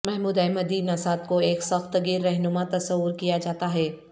Mahmood Ahmadinejad کو ایک سخت گیر رہنما تصور کیا جاتا ہے